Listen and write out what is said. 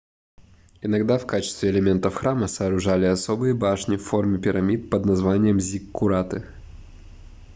иногда в качестве элементов храма сооружали особые башни в форме пирамид под названием зиккураты